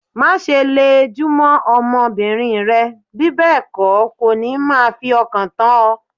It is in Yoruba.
Má ṣe le jù mó ọmọ bìnrin rẹ, bí bẹ́ẹ̀ kó, kò ní máa fi ọkàn tán o.